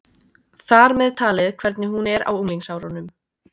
Þar með talið hvernig hún er á unglingsárunum.